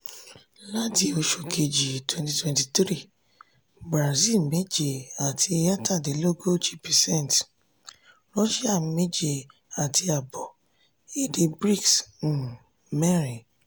láti oṣù keji twenty twenty three: brazil méje àti etadinlogiji percent russia méje àti ààbọ̀ percent èdè brics um mẹ́rin.